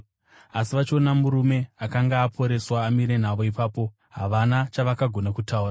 Asi vachiona murume akanga aporeswa amire navo ipapo, havana chavakagona kutaura.